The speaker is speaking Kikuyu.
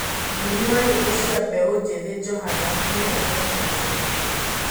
Muini wa nyĩmbo cĩa mbeũ njithĩ Johanna nĩ ma nĩakuĩte